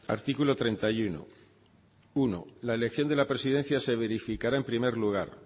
artículo treinta y uno uno la elección de la presidencia se verificará en primer lugar